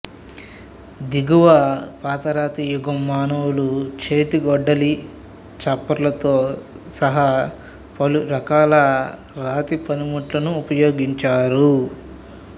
దిగువ పాతరాతియుగం మానవులు చేతి గొడ్డలి ఛాపర్లతో సహా పలు రకాల రాతి పనిముట్లను ఉపయోగించారు